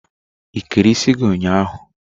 Ikere isi gị ụnyaahụ?